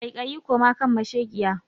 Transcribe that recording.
kaikai koma kan mashekiya.